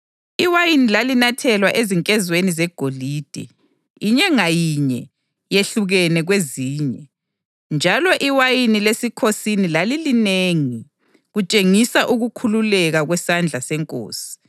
Iwayini lalinathelwa ezinkezweni zegolide, inye ngayinye yehlukene kwezinye, njalo iwayini lesikhosini lalilinengi, kutshengisa ukukhululeka kwesandla senkosi.